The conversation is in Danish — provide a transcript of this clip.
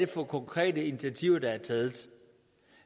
for konkrete initiativer der er taget